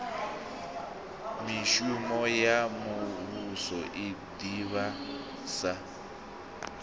mishumo ya muvhuso i ḓivhadza